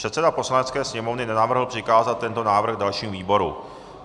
Předseda Poslanecké sněmovny navrhl přikázat tento návrh dalším výborům.